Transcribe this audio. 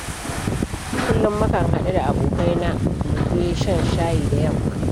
Kullum mukan haɗu da abokaina mu je shan shayi da yamma.